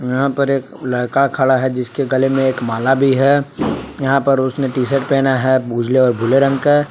यहां पर एक लड़का खड़ा है जिसके गले में एक माला भी है यहां पर उसने टी शर्ट पहना है उजले और भूरे रंग का।